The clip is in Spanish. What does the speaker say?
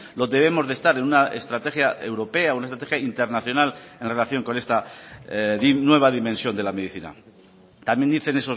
lo debemos de estar en una estrategia europea una estrategia internacional en relación con esta nueva dimensión de la medicina también dicen